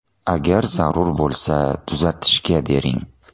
Agar zarur bo‘lsa tuzatishga bering.